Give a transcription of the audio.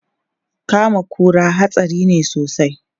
Kama kura hatsari ne sosai.